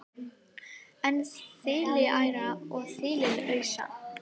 en þiliæra og þiliausa